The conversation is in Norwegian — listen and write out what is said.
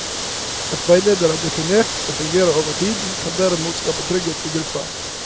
At veilederen er definert og fungerer over tid, kan derimot skape trygghet i gruppa.